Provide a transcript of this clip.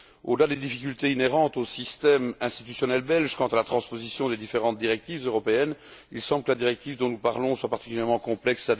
Au delà des difficultés inhérentes au système institutionnel belge quant à la transposition des différentes directives européennes, il semble que la directive dont nous parlons soit particulièrement complexe.